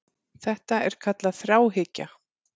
Þetta er kallað þráhyggja.